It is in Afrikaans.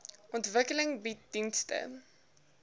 ontwikkeling bied dienste